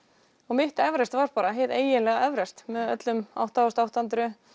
mitt Everest var bara hið eiginlega Everest með öllum átta þúsund átta hundruð